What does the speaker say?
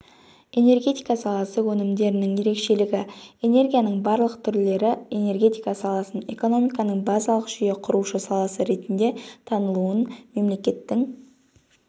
энергетика саласы өнімдерінің ерекшелігі энергияның барлық түрлеріэнергетика саласын экономиканың базалық жүйе құрушы саласы ретінде танылуын мемлекеттің